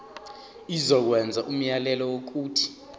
izokwenza umyalelo wokuthi